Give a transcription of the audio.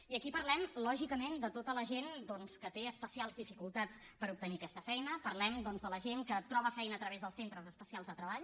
i aquí parlem lògicament de tota la gent doncs que té especials dificultats per obtenir aquesta feina parlem doncs de la gent que troba feina a través dels centres especials de treball